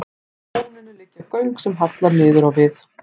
Úr lóninu liggja göng sem halla niður á við.